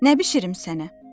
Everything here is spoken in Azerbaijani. Nə bişirim sənə?